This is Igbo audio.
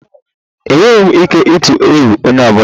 Enweghị m ike ịtụ egwu onye ọ bụla.